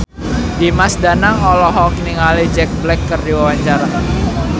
Dimas Danang olohok ningali Jack Black keur diwawancara